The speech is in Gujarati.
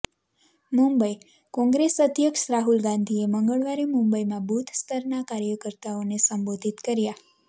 મુંબઈઃ કોંગ્રેસ અધ્યક્ષ રાહુલ ગાંધીએ મંગળવારે મુંબઈમાં બૂથ સ્તરના કાર્યકર્તાઓને સંબોધિત કર્યા